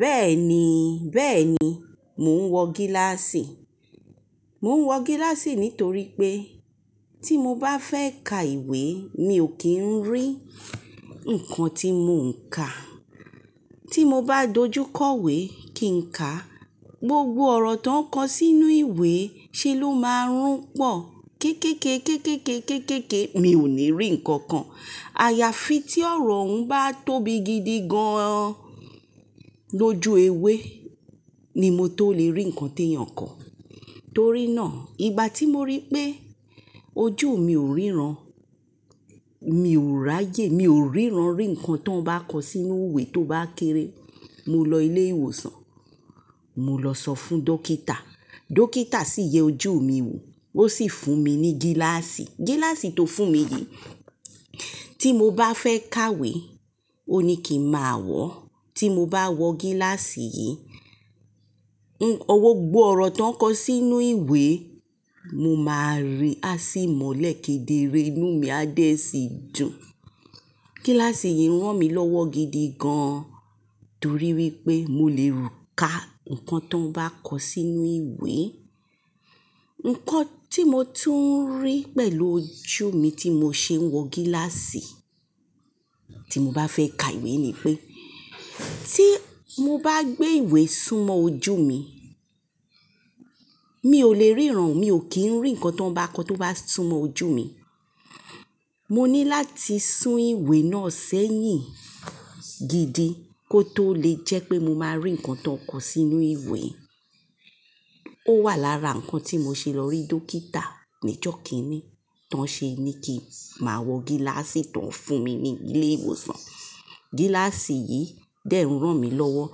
Bẹ́ẹ̀ni, bẹ́ẹ̀ni, mò ń wọ gíláàsì. Mò ń wọ gíláàsì nítorí pé tí mo bá fẹ́ ka ìwé mi ò kí ń rí nǹkan tí mò ń ka. Tí mo bá dojú kọ ìwé kí n ká, gbogbo ọ̀rọ̀ tó ń kọ sínú ìwé ṣe ló máa rún pọ̀. Kékéké, kékéké, kékéké mi ò ní rí nǹkan kan. Àyàfi tí ọ̀rọ̀ oun báà tóbi gidi gan an lójú ewé ni mo tó lè rí ǹkan tí èèyàn kọ. Torí náà, ìgbà tí mo rí pé ojú mi ò ríran, mi ò ráyè mi ò ríran rí ǹkan tó ń bá kọ sínú ìwé tó bá kéré, mo lọ ilé ìwòsàn. Mo lọ sọ fún dókítà. Dókítà sì yẹ ojú mi wò, ó sì fún mi ní gíláàsì. Gíláàsì tó fún mi yìí tí mo bá fẹ́ ka ìwé, ó ní kí n máa wọ̀. Tí mo bá wọ gíláàsì yìí, òwò gbogbo ọ̀rọ̀ tó ń kọ sínú ìwé mo máa rí á sì mọ̀lẹ́ kéderé inú mi á dẹ́ sì dùn. Gíláàsì yìí rán mi lọ́wọ́ gidi gan an torí wípé mo lè ka ǹkan tó bá kọ sínú ìwé. Ǹkan tí mo tún ń rí pẹ̀lú ojú mi tí mò ń ṣe ń wọ gíláàsì, tí mo bá fẹ́ ka ìwé ni pé tí mo bá gbé ìwé súnmọ́ ojú mi, mi ò lè ríran, mi ò kí ń rí ǹkan tó ń bá kọ tó bá súnmọ́ ojú mi. Mo ní láti sún ìwé náà sẹ́yìn gidi kó tó lè jẹ́ pé mo máa rí ǹkan tó kọ sínú ìwé. Ó wà lára ǹkan tí mo ṣe lọ rí Dókítà nijọ̀ kínní, tán ṣe ni kí màá wọ gíláàsì tó ń fún mi ní ilé ìwòsàn. Gíláàsì yìí dẹ́ ránni lọ́wọ́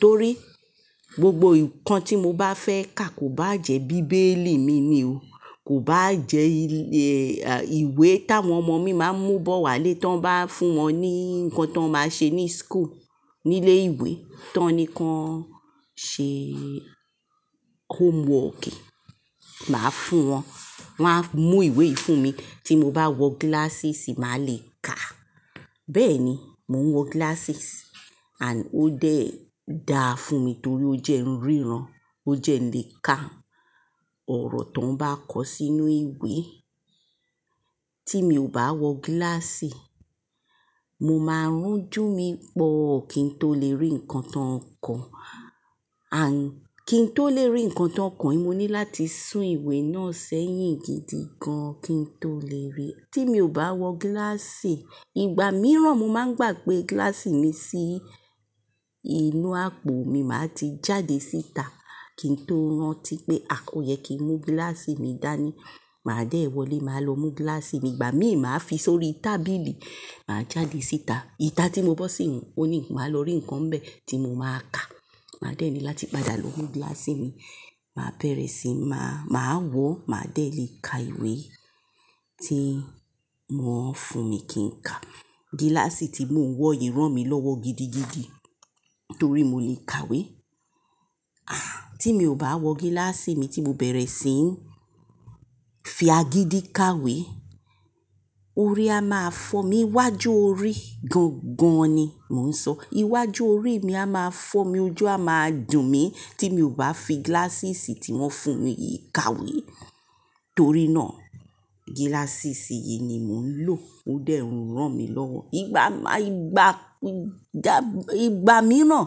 torí gbogbo ǹkan tí mo bá fẹ́ ka kò bá jẹ́ bíbélì mi ni o. Kò bá jẹ́, à, ìwé táwọn ọmọ mi máa ń mú bọ̀ wálé tí wọ́n bá fún wọn ní ǹkan tí wọ́n máa ṣe ní school, nílé ìwé tí wọ́n ní kí wọ́n ṣe homework. Màá fún wọn. Wọ́n á mú ìwé fún mi tí mo bá wọ gilasses màá lè ka. Bẹ́ẹ̀ni, mò ń wọ glasses and ó dẹ́ dáa fún mi torí ó jẹ́ ń ríran, ó jẹ́ lè ka ọ̀rọ̀ tó ń bá kọ sínú ìwé. Tí mi ò bá wọ gíláàsì, mo máa rún ojú mi pọ̀ kí n tó lè rí ǹkan tó ń kọ. And kí n tó lè rí ǹkan tó ń kọ yìí mo ní láti sún ìwé náà sẹ́yìn gidi gan an kí n tó lè rí. Tí mi ò bá wọ gíláàsì, ìgbà mìíràn mo máa ń gbàgbé gíláàsì mi sí inú àpò mi màá ti jáde síta kí n tó rántí pé à oyẹ kí n mú gíláàsì mi dání. Màá dé wọlé, màá lọ mú gíláàsì mi. Ìgbà mí máa fi sórí tábìlì, màá jáde síta. Ìta tí mo bọ́ sì yiń, ó ní, máa lọ rí ǹkan bẹ́ẹ̀ tí mo máa ka. Màá dẹ́ẹ̀ni láti padà lọ mú gíláàsì mi. Màá bẹ̀rẹ̀ sí ní máa, màá wọ̀, màá dé lè ka ìwé tí wọ́n fún mi kí n ka. Gíláàsì tí mò ń wọ yìí ránmi lọ́wọ́ gidigidi torí mo lè kàwé. Ah! Tí mi ò bá wọ gíláàsì mi tí mò ń bẹ̀rẹ̀ sí ń fi agídí kàwé, orí a máa fọ́ mi. Iwájú orí gán gán ni mò ń sọ. Iwájú orí mi a máa fọ́ mi, ojú a máa dùn mí tí mi ò bá fi glasses tí wọ́n fún mi yìí kàwé. Torí náà glasses yìí ni mò ń lò ó dẹ́ rán mi lọ́wọ́. Ìgbà máa, ìgbà, ìgbà mìíràn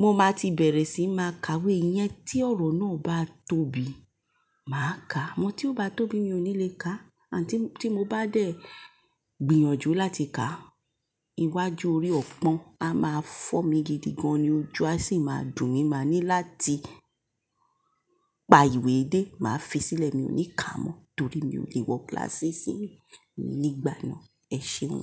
mo máa ti bẹ̀rẹ̀ sí máa ka ìwé yẹn tí ọ̀rọ̀ náà bá tóbi, màá ka. Amọ́ tí ó bá tóbi mi ò ní lè ka. And tí, tí mo bá dé gbìyànjú láti ka, iwájú orí ọ̀pọ̀n a máa fọ́ mi gidi gan-an ni ojú a sì máa dùn mí. Màá ní láti pa ìwé dé, màá fi sílẹ̀ mi ò ní ka mọ́ torí mi ò lè wọ glasses mi ní ìgbà náà. Ẹ ṣeun.